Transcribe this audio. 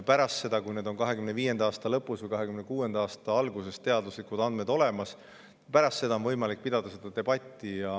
Pärast seda, kui 2025. aasta lõpus või 2026. aasta alguses on teaduslikud andmed olemas, on võimalik pidada debatti.